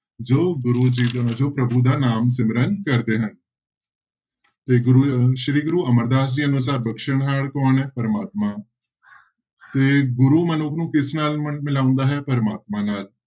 ਜੋ ਗੁਰੂ ਜੀ ਦਾ ਮਤਲਬ ਪ੍ਰਭੂ ਦਾ ਨਾਮ ਸਿਮਰਨ ਕਰਦੇ ਹਨ ਤੇ ਗੁਰੂ ਸ੍ਰੀ ਗੁਰੂ ਅਮਰਦਾਸ ਜੀ ਅਨੁਸਾਰ ਬਖ਼ਸ਼ਹਾਰ ਕੌਣ ਹੈ ਪ੍ਰਮਾਤਮਾ ਤੇ ਗੁਰੂ ਮਨੁੱਖ ਨੂੰ ਕਿਸ ਨਾਲ ਮਿਲਾਉਂਦਾ ਹੈ ਪ੍ਰਮਾਤਮਾ ਨਾਲ।